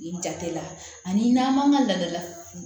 I jate la ani n'an man ka laada la